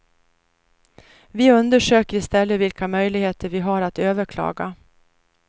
Vi undersöker i stället vilka möjligheter vi har att överklaga.